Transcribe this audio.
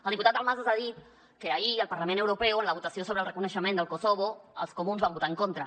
el diputat dalmases ha dit que ahir al parlament europeu en la votació sobre el reconeixement de kosovo els comuns hi van votar en contra